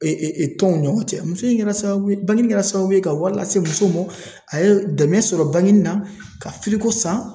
tɔnw ni ɲɔgɔn cɛ. Muso in kɛra sababu ye ,bange kɛra sababu ye ka wari lase muso ma, a ye dɛmɛ sɔrɔ bangenin na ka san.